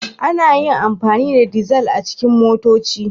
Ana iya amfani da dizal a cikin motoci.